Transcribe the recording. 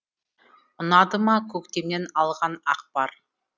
ұнады ма көктемнен алған ақпар